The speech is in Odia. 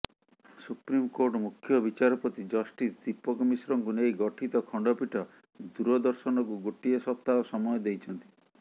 ସୁପ୍ରିମକୋର୍ଟ ମୁଖ୍ୟ ବିଚାରପତି ଜଷ୍ଟିସ୍ ଦୀପକ ମିଶ୍ରଙ୍କୁ ନେଇ ଗଠିତ ଖଣ୍ଡପୀଠ ଦୂରଦର୍ଶନକୁ ଗୋଟିଏ ସପ୍ତାହ ସମୟ ଦେଇଛନ୍ତି